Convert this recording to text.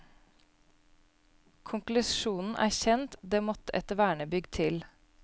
Konklusjonen er kjent, det måtte et vernebygg til.